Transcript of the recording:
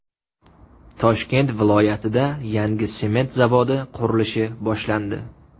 Toshkent viloyatida yangi sement zavodi qurilishi boshlandi.